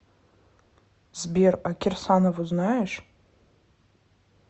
сбер а кирсанову знаешь